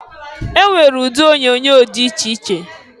E nwere ụdị onyoonyo dị iche iche.